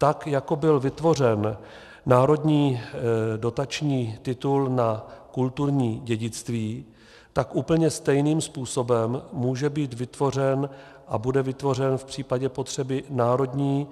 Tak jako byl vytvořen národní dotační titul na kulturní dědictví, tak úplně stejným způsobem může být vytvořen a bude vytvořen v případě potřeby národní